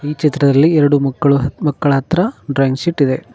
ಈ ಚಿತ್ರದಲ್ಲಿ ಎರಡು ಮಕ್ಕಳು ಮಕ್ಕಳ ಹತ್ರ ಡ್ರಾಯಿಂಗ್ ಶೀಟ್ ಇದೆ.